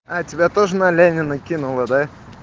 а тебя тоже на ленина кинула да